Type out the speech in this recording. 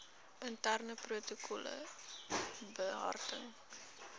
interne protokolle behartig